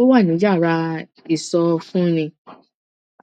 ó wà ní yàrá ìsọfúnni